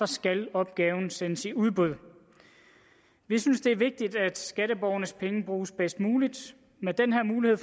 skal opgaven sendes i udbud vi synes det er vigtigt at skatteborgernes penge bruges bedst muligt med den her mulighed